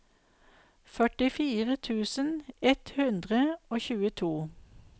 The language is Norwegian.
førtifire tusen ett hundre og tjueto